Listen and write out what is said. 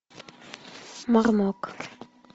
мармок